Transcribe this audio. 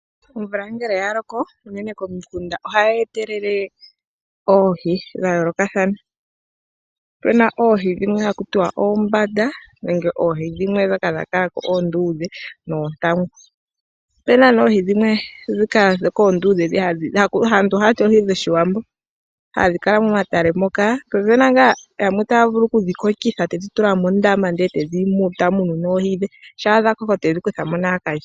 Omvula ngele yaloko unene komikunda ohayi etelele oohi dhayoolokathana . Opuna oohi dhimwe haku tiwa oombanda nenge oohi ndhoka dhakalako oonduudhe noontangu. Opuna oohi oonduudhe aantu ohaya oohi dhOshiwambo hadhi kala ndhoka momatale moka. Po opuna yamwe haya vulu okudhi kokitha etedhi tula mondama , etedhi munu, nongele dhakoko ohedhi kuthamo akalye.